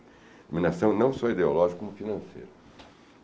Dominação não só ideológica, como financeira.